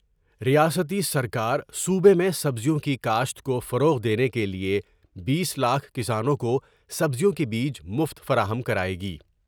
ریاستی سرکار صوبے میں سبزیوں کی کاشت کو فروغ دینے کے لئے بیس لاکھ کسانوں کوسبزیوں کے بیج مفت فراہم کریگی ۔